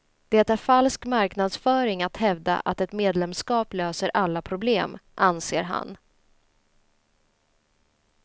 Det är falsk marknadsföring att hävda att ett medlemskap löser alla problem, anser han.